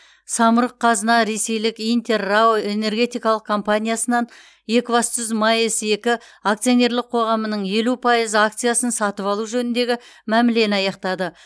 самұрық қазына ресейлік интер рао энергетикалық компаниясынан екібастұз маэс екі акционерлік қоғамының елу пайыз акциясын сатып алу жөніндегі мәмілені аяқтады